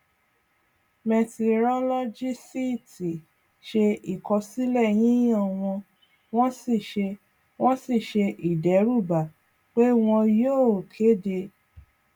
mẹtirolọgìsíítì ṣe ìkọsílẹ yíyan wọn wọn sì ṣe wọn sì ṣe ìdẹrúbà pé wọn yóò kéde